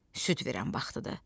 Süd verən vaxtıdır.